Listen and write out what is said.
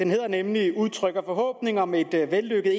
nemlig udtrykker forhåbning om et vellykket